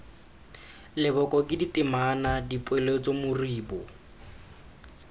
leboko ke ditema dipoeletso moribo